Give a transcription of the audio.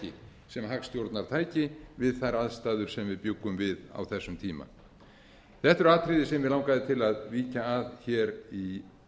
ekki sem hagstjórnartæki við þær aðstæður sem við bjuggum við á þessum tíma þetta eru atriði sem mig langaði til að víkja að hér í